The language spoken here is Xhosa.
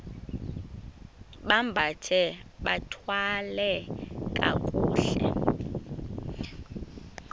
bambathe bathwale kakuhle